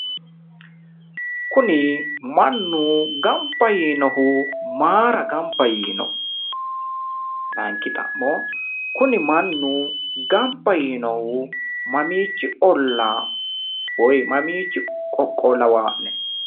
Kuni mannu gamba yiinohu maayiira gamba yiino? layiinki xa'mo kuni mannu gamba yiinohu mamiichi ollaa woy mamiichi qoqqowo lawaa'ne?